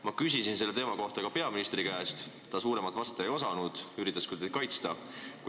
Ma küsisin selle teema kohta ka peaministri käest, kes suuremat vastata ei osanud, aga üritas teid kaitsta.